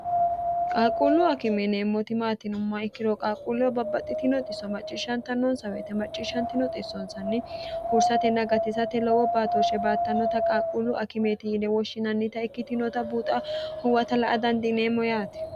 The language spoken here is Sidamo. qaalquullu akimeeneemmoti maatinomma ikkiro qaaqquullewo babbaxxi tinoxisso macciishshanta noonsaweete macciishshantinoxissoonsanni huursatenna gatisate lowo baatooshshe baattannota qaalquullu akimeeti yine woshshinannita ikkitinota buuxa huwata la a dandiineemmo yaati